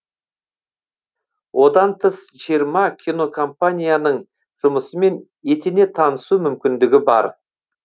одан тыс жиырма кинокомпанияның жұмысымен етене танысу мүмкіндігі бар